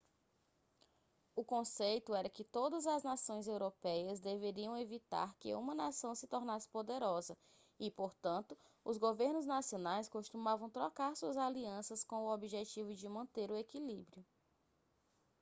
o conceito era que todas as nações europeias deveriam evitar que uma nação se tornasse poderosa e portanto os governos nacionais costumavam trocar suas alianças com o objetivo de manter o equilíbrio